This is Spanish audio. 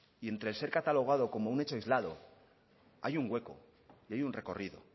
y entre el ser catalogado como un hecho aislado hay un hueco y hay un recorrido